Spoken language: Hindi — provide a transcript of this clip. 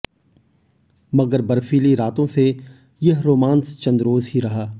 मगर बर्फीली रातों से यह रोमांस चंदरोज़ ही रहा